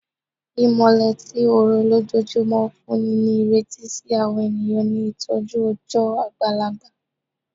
Imọlẹ ti oorun lojoojumọ n funni ni ireti si awọn eniyan ni itọju ọjọ agbalagba